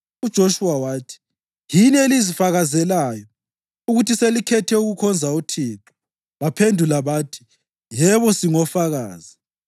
UJoshuwa wathi, “Yini elizifakazelayo ukuthi selikhethe ukukhonza uThixo. ” Baphendula bathi, “Yebo singofakazi.”